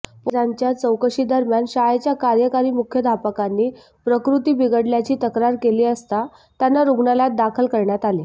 पोलिसांच्या चौकशीदरम्यान शाळेच्या कार्यकारी मुख्याध्यापकांनी प्रकृती बिघडल्याची तक्रार केली असता त्यांना रुग्णालयात दाखल करण्यात आले